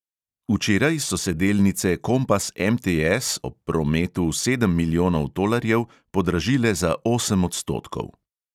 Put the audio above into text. Včeraj so se delnice kompas MTS ob prometu sedem milijonov tolarjev podražile za osem odstotkov.